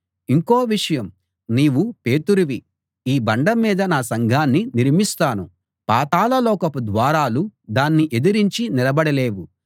ఇంకో విషయం నీవు పేతురువి ఈ బండమీద నా సంఘాన్ని నిర్మిస్తాను పాతాళ లోకపు ద్వారాలు దాన్ని ఎదిరించి నిలబడలేవు